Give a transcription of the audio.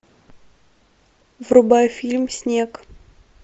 врубай фильм снег